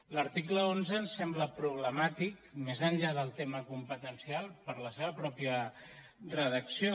l’article onze ens sembla problemàtic més enllà del tema competencial per la seva mateixa redacció